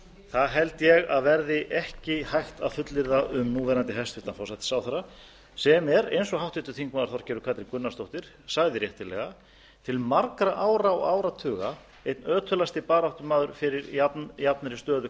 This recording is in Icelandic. það held ég að verði ekki hægt að fullyrða um núverandi hæstvirtan forsætisráðherra sem er eins og háttvirtur þingmaður þorgerður katrín gunnarsdóttir sagði réttilega til margra ára og áratuga einn ötulasti baráttumaður fyrir jafnri stöðu karla